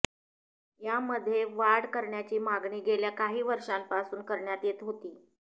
यामध्ये वाढ करण्याची मागणी गेल्या काही वर्षापासून करण्यात येत होती